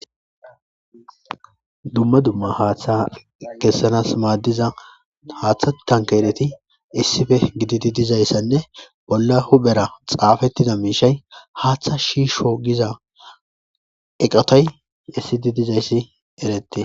Dumma dumma haaththa kessanas maaddiza haaththa tan keereti issife gidi di dizayssanne bolla hubhera xaafettida miishay haaththa shiisho giza eqatay issi di dizayssi eretti